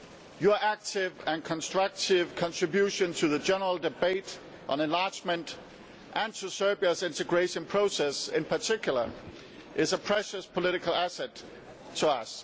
Your active and constructive contribution to the general debate on enlargement and to Serbia's integration process in particular is a precious political asset to us.